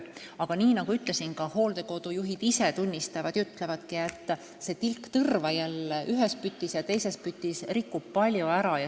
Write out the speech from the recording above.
Aga nagu ütlesin, ka hooldekodude juhid ise tunnistavad, et tilk tõrva ühes pütis ja teises pütis rikub palju ära.